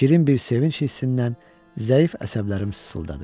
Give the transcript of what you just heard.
Şirin bir sevinc hissindən zəif əsəblərim sızıldadı.